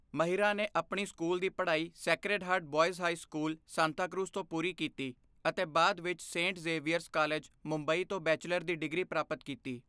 ਮਹਿਰਾ ਨੇ ਆਪਣੀ ਸਕੂਲ ਦੀ ਪੜ੍ਹਾਈ Sacred Heart Boys High School, Santacruz ਤੋਂ ਪੂਰੀ ਕੀਤੀ ਅਤੇ ਬਾਅਦ ਵਿੱਚ ਸੇਂਟ ਜ਼ੇਵੀਅਰਜ਼ ਕਾਲਜ, ਮੁੰਬਈ ਤੋਂ ਬੈਚਲਰ ਦੀ ਡਿਗਰੀ ਪ੍ਰਾਪਤ ਕੀਤੀ।